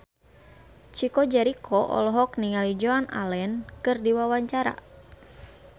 Chico Jericho olohok ningali Joan Allen keur diwawancara